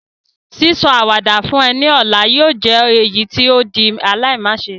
Sísọ àwàdà fún ọ ni ọ̀la yóò jẹ èyítí o di aláimáse